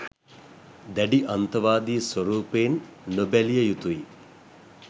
දැඩි අන්තවාදි ස්වරූපයෙන් නොබැලිය යුතුයි